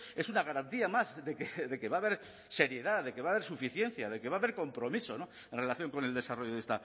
es una garantía más de que va a haber seriedad de que va a haber suficiencia de que va a haber compromiso en relación con el desarrollo de